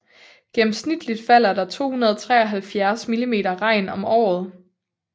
Gennemsnitligt falder der 273 millimeter regn om året